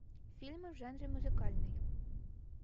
фильмы в жанре музыкальный